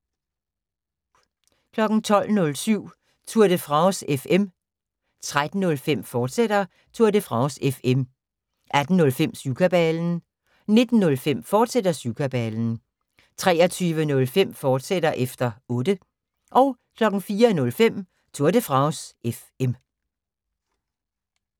12:07: Tour de France FM 13:05: Tour de France FM, fortsat 18:05: Syvkabalen 19:05: Syvkabalen, fortsat 23:05: Efter Otte, fortsat 04:05: Tour de France FM